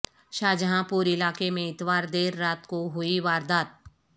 شاہ جہاں پور علاقے میں اتوار دیر رات کو ہوئی واردات